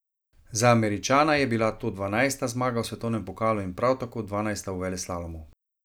Za Američana je bila to dvanajsta zmaga v svetovnem pokalu in prav tako dvanajsta v veleslalomu.